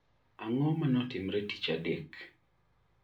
Ang'o mane otimre tich adek?